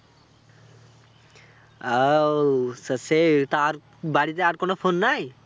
আহ ও তা সে তা আর বাড়িতে আর কোনো phone নাই?